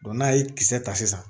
n'a ye kisɛ ta sisan